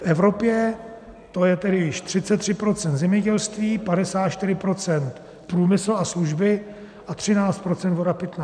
V Evropě to je tedy již 33 % zemědělství, 54 % průmysl a služby a 13 % voda pitná.